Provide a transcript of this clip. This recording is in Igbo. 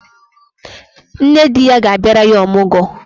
Nne di ya ga-abịara ya ọmụgwọ.